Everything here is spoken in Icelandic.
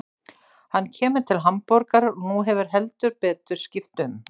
Hann kemur til Hamborgar og nú hefur heldur betur skipt um.